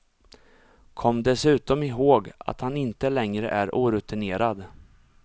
Kom dessutom ihåg, att han inte längre är orutinerad.